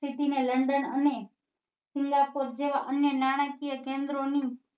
City ને london કોટ જેવા અન્ય નાણાકીય કેન્દ્રોની